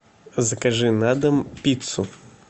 закажи на дом пиццу